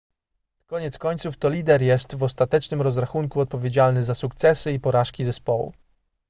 koniec końców to lider jest w ostatecznym rozrachunku odpowiedzialny za sukcesy i porażki zespołu